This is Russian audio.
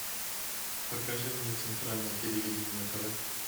покажи мне центральное телевидение на тв